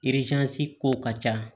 kow ka ca